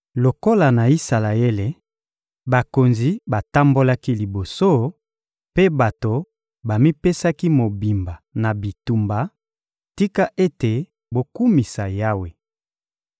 Lokola na Isalaele, bakonzi batambolaki liboso, mpe bato bamipesaki mobimba na bitumba, tika ete bokumisa Yawe!